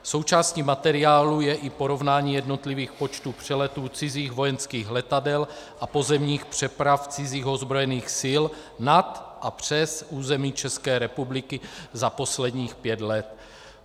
Součástí materiálu je i porovnání jednotlivých počtů přeletů cizích vojenských letadel a pozemních přeprav cizích ozbrojených sil nad a přes území České republiky za posledních pět let.